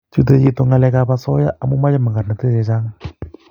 Chute chito ngalek ab asoya amu Mache magornatet chechang